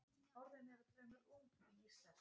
Orðin eru fremur ung í íslensku.